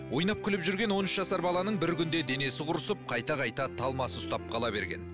ойнап күліп жүрген он үш жасар баланың бір күнде денесі құрысып қайта қайта талмасы ұстап қала берген